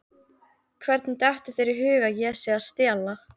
Hvernig dettur þér í hug að ég sé að stela?